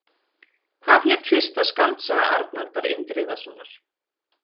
Hvað hét fyrsta skáldsaga Arnaldar Indriðasonar?